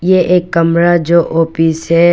ये एक कमरा जो ऑफिस है।